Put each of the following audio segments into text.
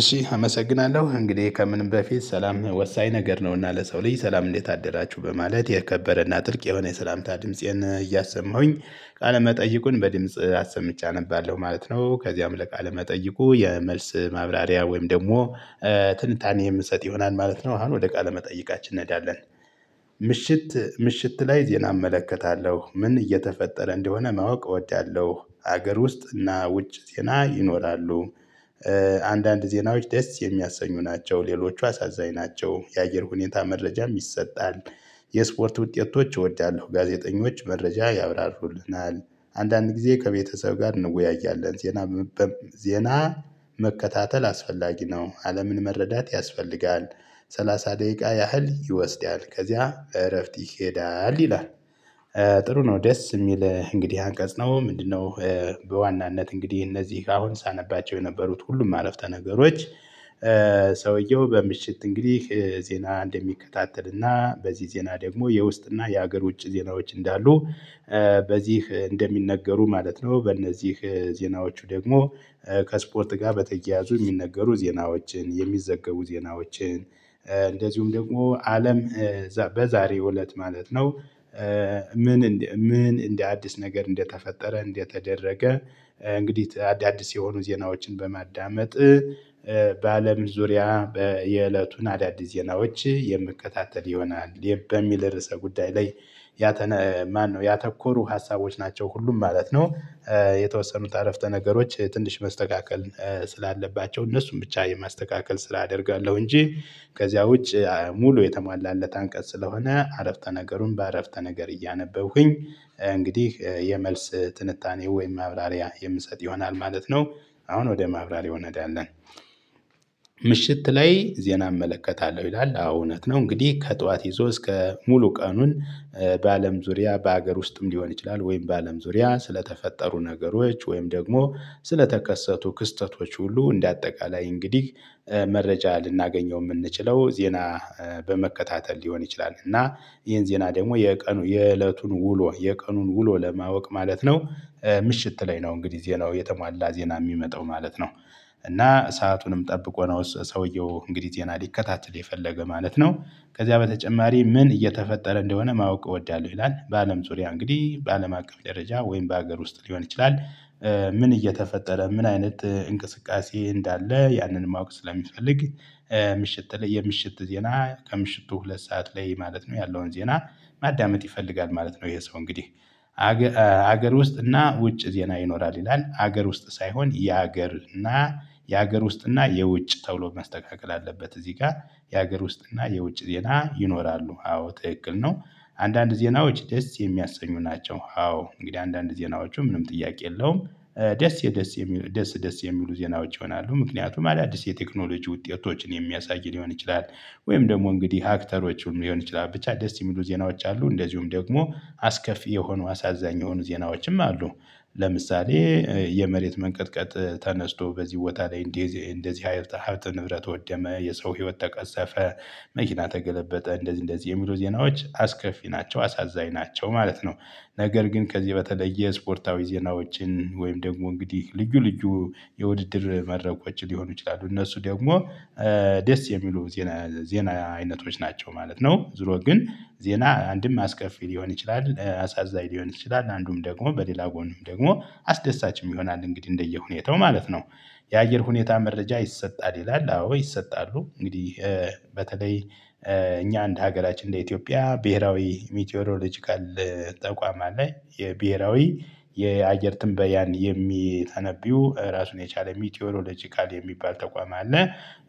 እሺ አመሰግናለሁ እንግዲህ ከምንም በፊት ሰላም ወሳኝ ነገር ነውና ለሰው ልጅ ሰላም እንዴት አደራችሁ በማለት የከበረና ጥልቅ የሆነ የሰላምታ ድምፄን እያሰማሁኝ ቃለ መጠይቁን በድምጽ አሰምቼ አነባለሁ ማለት ነው ከዚያም ለቃለ መጠይቁ የመልስ ማብራሪያ ወይም ደግሞ ትንታኔ የምሰጥ ይሆናል ማለት ነው። አሁን ወደ ቃለ መጠይቃችን እንሄዳለን። ምሽት ምሽት ላይ ዜና እመለከታለሁ ምን እየተፈጠረ እንደሆነ ማወቅ እወዳለሁ። ሀገር ውስጥ እና ውጭ ዜና ይኖራሉ። አንዳንድ ዜናዎች ደስ የሚያሰኙ ናቸው ሌሎቹ አሳዛኝ ናቸው። የአየር ሁኔታ መረጃ ይሰጣል። የስፖርት ውጤቶች እወዳለሁ ጋዜጠኞች መረጃ ያብራርሩልናል። አንዳንድ ጊዜ ከቤተሰብ ጋር እንወያያለን ዜና። ዜና መከታተል አስፈላጊ ነው አለምን መረዳት ያስፈልጋል። ሰላሳ ደቂቃ ያህል ይወስዳል ከዚያ እረፍት ይሄዳል ይላል። ጥሩ ነው ደስ የሚል እንግዲህ አንቀጽ ነው ምንድነው? በዋናነት እንግዲህ እነዚህ አሁን ሳነባቸው የነበሩት ሁሉም አረፍተ ነገሮች። ሰውየው በምሽት እንግዲህ ዜና እንደሚከታተልና በዚህ ዜና ደግሞ የውስጥና የሀገር ውጭ ዜናዎች እንዳሉ። በዚህ እንደሚነገሩ ማለት ነው። በእነዚህ ዜናዎቹ ደግሞ ከስፖርት ጋር በተያያዙ የሚነገሩ ዜናዎችን የሚዘገቡ ዜናዎችን። እንደዚሁም ደግሞ አለም በዛሬው እለት ማለት ነው። ምን ምን እንደ አዲስ ነገር እንደተፈጠረ እንደተደረገ። እንግዲህ አዳዲስ የሆኑ ዜናዎችን በማዳመጥ በአለም ዙሪያ የእለቱን አዳዲስ ዜናዎች የምከታተል ይሆናል። በሚል ርዕሰ ጉዳይ ላይ ያተነ ማነው? ያተኮሩ ሀሳቦች ናቸው ሁሉም ማለት ነው። የተወሰኑት አረፍተ ነገሮች ትንሽ መስተካከል ስላለባቸው እነርሱን ብቻ የማስተካከል ስል አደርጋለሁ እንጂ። ከዚያ ውጪ ሙሉ የተሟላለት አንቀጽ ስለሆነ አረፍተ ነገሩን በአረፍተ ነገር እያነበብኩኝ። እንግዲህ የመልስ ትንታኔ ወይም ማብራሪያ የምሰጥ ይሆናል ማለት ነው። አሁን ወደ ማብራሪያው እናደርጋለን። ምሽት ላይ ዜና እመለከታለሁ ይላል አዎ እውነት ነው። እንግዲህ ከጠዋት ይዞ እስከ ሙሉ ቀኑን በአለም ዙሪያ በሀገር ውስጥም ሊሆን ይችላል ወይም በአለም ዙሪያ ስለተፈጠሩ ነገሮች ወይም ደግሞ ስለተከሰቱ ክስተቶች ሁሉ እንደ አጠቃላይ እንግዲህ መረጃ ልናገኘው የምንችለው ዜና። በመከታተል ሊሆን ይችላል እና ይሄን ዜና ደግሞ የቀኑ የእለቱን ውሎ የቀኑን ውሎ ለማወቅ ማለት ነው። ምሽት ላይ ነው እንግዲህ ዜናው የተሟላ ዜና የሚመጣው ማለት ነው። እና ሰአቱንም ጠብቆ ነው ሰውየው እንግዲህ ይሄን ሊከታተል የፈለገ ማለት ነው። ከዚያ በተጨማሪ ምን እየተፈጠረ እንደሆነ ማወቅ እወዳለሁ። ይላል በአለም ዙሪያ እንግዲህ በአለም አቀፍ ደረጃ ወይም በሀገር ውስጥ ሊሆን ይችላል። ምን እየተፈጠረ ምን አይነት እንቅስቃሴ እንዳለ ያንን ማወቅ ስለሚፈልግ። ምሽት ላይ የምሽት ዜና ከምሽቱ ሁለት ሰዓት ላይ ማለት ነው ያለውን ዜና። ማዳመጥ ይፈልጋል ማለት ነው ይሄ ሰው እንግዲህ። ሀገር ውስጥ እና ውጭ ዜና ይኖራል ይላል ሀገር ውስጥ ሳይሆን የሀገር እና የሀገር ውስጥ እና የውጭ ተውሎ መስተካከል አለበት። እዚህ ጋር የሀገር ውስጥ እና የውጭ ዜና ይኖራሉ አዎ ጥቅል ነው። አንዳንድ ዜናዎች ደስ የሚያሰኙ ናቸው አዎ እንግዲህ አንዳንድ ዜናዎቹ ምንም ጥያቄ የለውም። ደስ የደስ ደስ ደስ የሚሉ ዜና ውጪ ይሆናሉ ምክንያቱም አዳዲስ የቴክኖሎጂ ውጤቶችን የሚያሳይ ሊሆን ይችላል። ወይም ደግሞ እንግዲህ ሃክተሮችን ሊሆን ይችላል ብቻ ደስ የሚሉ ዜናዎች አሉ እንደዚሁም ደግሞ አስከፊ የሆኑ አሳዛኝ የሆኑ ዜናዎችም አሉ። ለምሳሌ የመሬት መንቀጥቀጥ ተነስቶ በዚህ ቦታ ላይ እንደዚህ እንደዚህ ሀይል ሀብት ንብረት ወደመ የሰው ህይወት ተቀሰፈ። መኪና ተገለበጠ እንደዚህ እንደዚህ የሚሉ ዜናዎች አስከፊ ናቸው አሳዛኝ ናቸው ማለት ነው። ነገር ግን ከዚህ በተለየ ስፖርታዊ ዜናዎችን ወይም ደግሞ እንግዲህ ልዩ ልዩ የውድድር መድረኮች ሊሆኑ ይችላሉ። እነሱ ደግሞ ደስ የሚሉ ዜና ዜና አይነቶች ናቸው ማለት ነው። ዙሮ ግን ዜና አንድም አስከፊ ሊሆን ይችላል። አሳዛኝ ሊሆን ይችላል አንዱም ደግሞ በሌላ ጎንም ደግሞ አስደሳችም ይሆናል እንግዲህ እንደየሁኔታው ማለት ነው። የአየር ሁኔታ መረጃ ይሰጣል ይላል። አዎ ይሰጣሉ እንግዲህ በተለይ እኛ አንድ ሀገራችን እንደ ኢትዮጵያ ብሄራዊ ሚቴሮሎጂካል ተቋማዊ የብሄራዊ የአየር ትንበያን የሚተነብዩ ራሱን የቻለ ሚቲዮኖሎጂ ቃል የሚባል ተቋም አለ።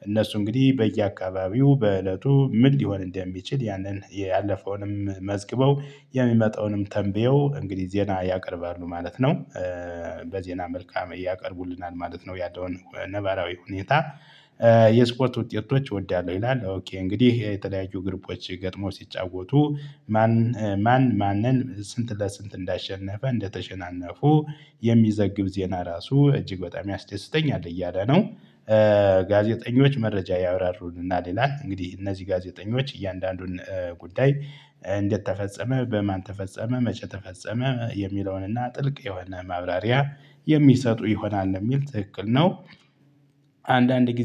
እነሱ እንግዲህ በየአካባቢው በእለቱ ምን ሊሆን እንደሚችል ያንን ያለፈውንም መዝግበው የሚመጣውንም ተንብየው እንግዲህ ዜና ያቀርባሉ ማለት ነው። በዜና መልክ ያቀርቡልናል ማለት ነው። ያደውን ነባራዊ ሁኔታ። የስፖርት ውጤቶች እወዳለሁ ይላል። እንግዲህ የተለያዩ ግሩፖች ገጥሞ ሲጫወቱ ማን? ማን ማንን ስንት ለስንት እንዳሸነፈ እንደተሸናነፉ የሚዘግብ ዜና ራሱ እጅግ በጣም ያስደስተኛል እያለ ነው። ጋዜጠኞች መረጃ ያብራሩልንና ሌላ እንግዲህ እነዚህ ጋዜጠኞች እያንዳንዱን ጉዳይ እንደተፈጸመ በማን ተፈጸመ መጨረሻ ተፈጸመ የሚለውንና ጥልቅ የሆነ ማብራሪያ የሚሰጡ ይሆናል እንደሚል ትክክል ነው። አንዳንድ ጊዜ